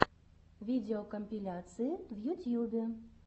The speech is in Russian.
видеокомпиляции в ютьюбе